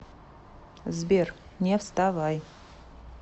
сбер не вставай